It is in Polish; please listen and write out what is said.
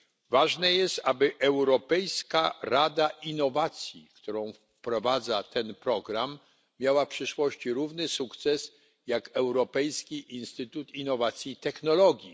Ważne jest, aby Europejska Rada Innowacji, którą wprowadza ten program, miała w przyszłości równy sukces jak Europejski Instytut Innowacji i Technologii.